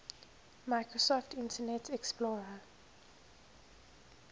microsoft internet explorer